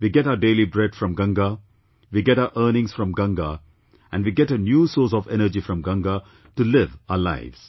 We get our daily bread from Ganga, we get our earnings from Ganga, and we get a new source of energy from Ganga to live our lives